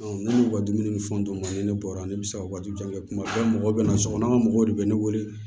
ne ka dumuni ni fɛnw d'u ma ni ne bɔra ne bɛ se ka waati jan kɛ kuma bɛɛ mɔgɔw bɛ na sokɔnɔ mɔgɔw de bɛ ne wele